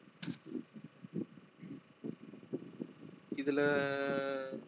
இதுல